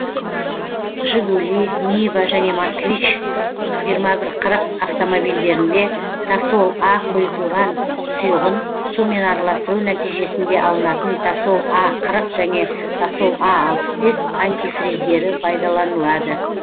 жигули нива және москвич жиырма бір қырық автомобильдерінде тосол а қойытылған сұйығын сумен араластыру нәтижесінде алынатын тосол а қырық және тосол а алпыс бес антифриздері пайдаланылады